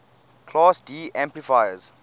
class d amplifiers